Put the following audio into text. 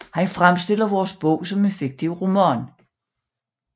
Han fremstiller vores bog som en fiktiv roman